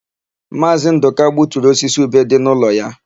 Maazị Ndụka gbuturu osisi ube dị n'ụlọ ya.